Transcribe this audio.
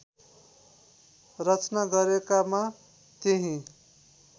रचना गरेकामा त्यही